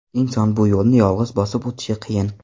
Inson bu yo‘lni yolg‘iz bosib o‘tishi qiyin.